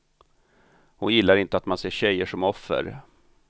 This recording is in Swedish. Hon gillar inte att man ser tjejer som offer.